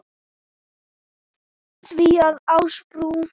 því að Ásbrú